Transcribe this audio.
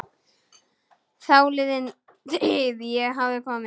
Þáliðin tíð- ég hafði komið